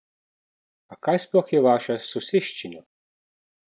A kaj sploh je vaša soseščina?